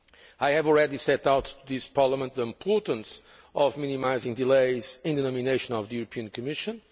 I have already set out to this Parliament the importance of minimising delays in the nomination of the European Commission.